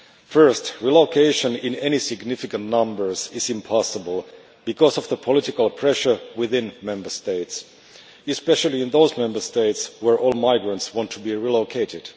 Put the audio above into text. First, relocation in any significant numbers is impossible because of the political pressure within Member States, especially in those Member States where all migrants want to be relocated.